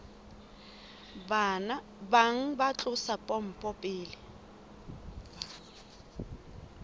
bang ba tlosa pompo pele